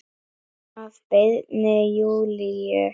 Að beiðni Júlíu.